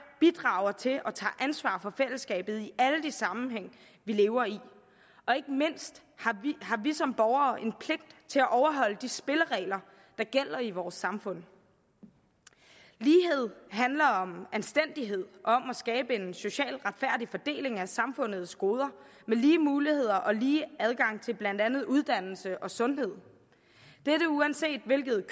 bidrager til og tager ansvar for fællesskabet i alle de sammenhænge vi lever i og ikke mindst har vi som borgere en pligt til at overholde de spilleregler der gælder i vores samfund lighed handler om anstændighed om at skabe en socialt retfærdig fordeling af samfundets goder med lige muligheder og lige adgang til blandt andet uddannelse og sundhed dette uanset hvilket